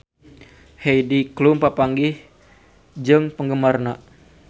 Heidi Klum papanggih jeung penggemarna